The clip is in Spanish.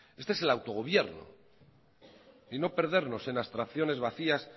este es el autogobierno y no perdernos en abstracciones vacías